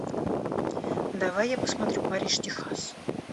давай я посмотрю париж техас